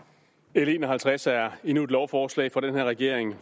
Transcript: l en og halvtreds er endnu et lovforslag fra den her regering